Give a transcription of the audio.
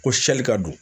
Ko sli ka don